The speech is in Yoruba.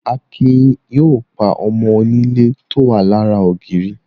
Akin yóò pa ọmọ onílé tó wà lára ògiri.